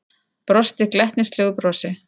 Brosti glettnislegu brosi.